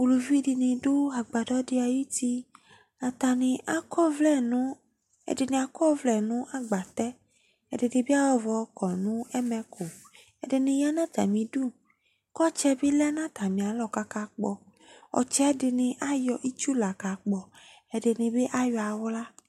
Uluvi de ne do agbadɔ de ayitiAtane akɔ ɔvlɛ no, ɛde ne akɔ vlɛ no agbatɛ ɛde de be ayɔ ɔvɔ kɔ no ɛmɛku Ɛde ne ya no atame du ko ɔtsɛ be lɛ na atame alɔ kaka kpɔ, Ɔtsɛ de ne ayɔ itsu la ka kpɔ , ɛde be ayɔ ahla